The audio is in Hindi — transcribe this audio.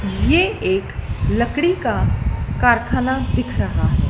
ये एक लकड़ी का कारखाना दिख रहा है।